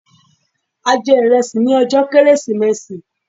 A jẹ ìrẹsì ní ọjọ́ kérésìmesì